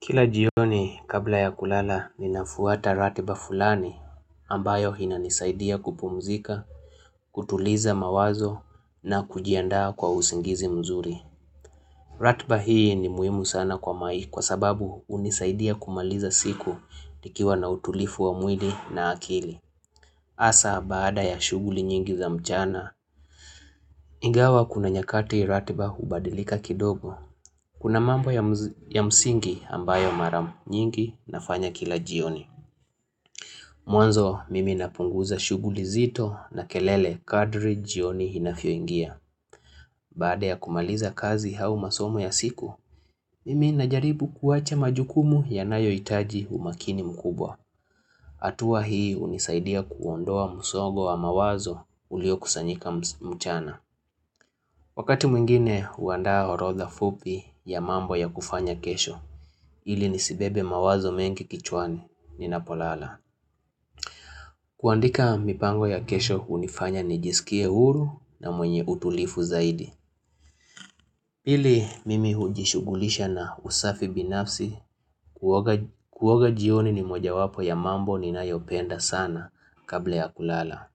Kila jioni kabla ya kulala ninafuata ratiba fulani ambayo inanisaidia kupumzika, kutuliza mawazo na kujiandaa kwa usingizi mzuri. Ratiba hii ni muhimu sana kwa maisha kwa sababu hunisaidia kumaliza siku nikiwa na utulivu wa mwili na akili. Hasa baada ya shughuli nyingi za mchana, ingawa kuna nyakati ratiba hubadilika kidogo. Kuna mambo ya msingi ambayo mara nyingi nafanya kila jioni. Mwanzo mimi napunguza shughuli nzito na kelele kadri jioni inavyo ingia. Baada ya kumaliza kazi au masomo ya siku, mimi najaribu kuwacha majukumu ya nayo itaji umakini mkubwa. Hatuwa hii hunisaidia kuondoa musongo wa mawazo ulio kusanyika mchana. Wakati mwingine huandaa orotha fupi ya mambo ya kufanya kesho, ili nisibebe mawazo mengi kichwani, ninapolala. Kuandika mipango ya kesho hunifanya nijisikie huru na mwenye utulivu zaidi. Pili mimi hujishugulisha na usafi binafsi kuoga jioni ni moja wapo ya mambo ninayopenda sana kabla ya kulala.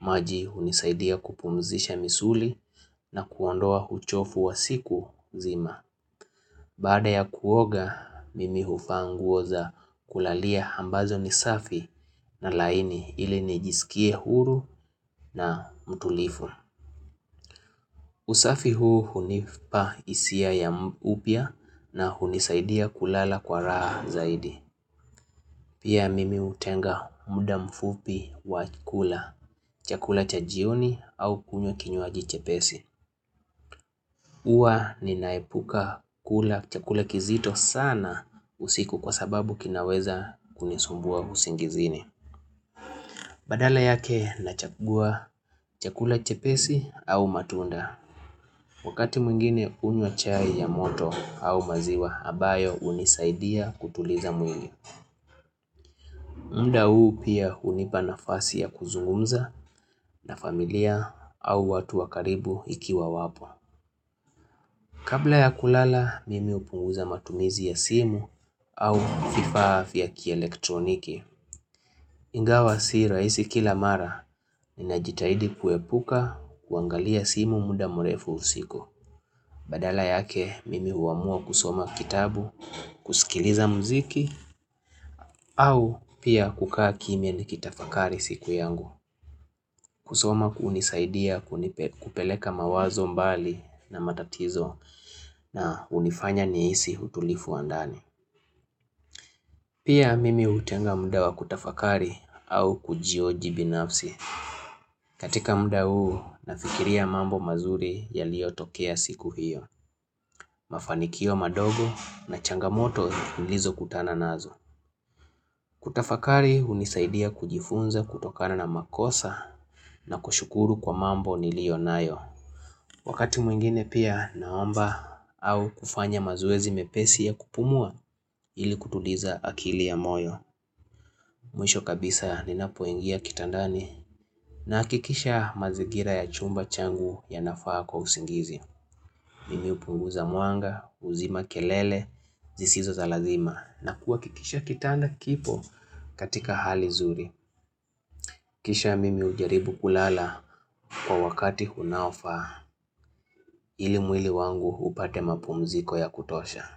Maji unisaidia kupumzisha misuli na kuondoa uchovu wa siku nzima. Baada ya kuoga, mimi huvaa nguo za kulalia ambazo nisafi na laini ili nijisikie huru na mtulivu. Usafi huu hunipa hisia ya upya na hunisaidia kulala kwa raha zaidi. Pia mimi hutenga muda mfupi wa kula, chakula cha jioni au kunywa kinyuaji chepesi. Huwa ninaepuka kula chakula kizito sana usiku kwa sababu kinaweza kunisumbua usingizini. Badala yake na chagua chakula chepesi au matunda. Wakati mwingine unywa chai ya moto au maziwa ambayo hunisaidia kutuliza mwili. Mda uu pia hunipa nafasi ya kuzungumza na familia au watu wakaribu ikiwa wapo. Kabla ya kulala, mimi upunguza matumizi ya simu au vifaa vya kielektroniki. Ingawa si rahisi kila mara, ninajitahidi kuepuka kuangalia simu muda mrefu usiku. Badala yake, mimi huamua kusoma kitabu, kusikiliza muziki, au pia kukaa kimya nikitafakari siku yangu. Kusoma hunisaidia kupeleka mawazo mbali na matatizo na hunifanya nihisi utulivu wa ndani. Pia mimi hutenga muda wa kutafakari au kujihoji binafsi. Katika muda huu nafikiria mambo mazuri ya liyo tokea siku hiyo. Mafanikio madogo na changamoto nilizo kutana nazo. Kutafakari hunisaidia kujifunza kutokana na makosa na kushukuru kwa mambo ni liyo nayo. Wakati mwingine pia naomba au kufanya mazowezi mepesi ya kupumua ili kutuliza akili ya moyo. Mwisho kabisa ninapoingia kitandani na hakikisha mazigira ya chumba changu ya nafaa kwa usingizi. Mimi hupunguza mwanga, huzima kelele, zisizo za lazima na kuhakikisha kitanda kipo katika hali nzuri. Kisha mimi ujaribu kulala kwa wakati unaofaa ili mwili wangu upate mapumziko ya kutosha.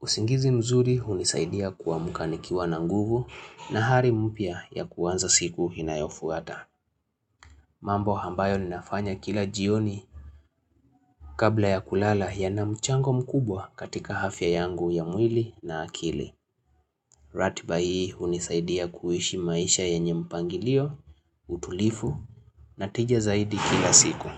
Usingizi mzuri hunisaidia kuamka nikiwa na nguvu na hali mpya ya kuanza siku inayofuata. Mambo ambayo ninafanya kila jioni kabla ya kulala yana mchango mkubwa katika afya yangu ya mwili na akili. Ratiba hii hunisaidia kuishi maisha yennye mpangilio, utulivu na tija zaidi kila siku.